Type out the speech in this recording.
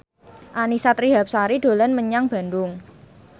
Annisa Trihapsari dolan menyang Bandung